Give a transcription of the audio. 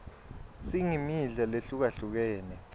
singmidla lehlukahlukene